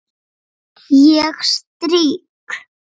Ég strýk.